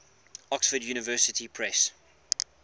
oxford university press